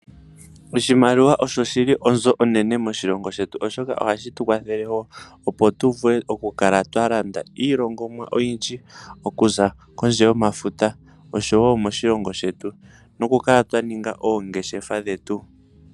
Oshimaliwa osho shi li onzo onene moshilongo shetu oshoka ohashi tu kwathele wo opo tu vule okukala twa landa iilongomwa oyindji okuza kondje yomafuta oshowo moshilongo shetu nokukala twa ninga oongeshefa dhetu.